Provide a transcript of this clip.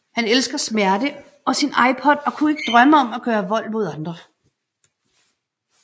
Han elsker smerte og sin iPod og kunne ikke drømme om at gøre vold mod andre